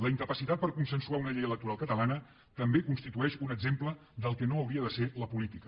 la incapacitat per a consensuar una llei electoral catalana també constitueix un exemple del que no hauria de ser la política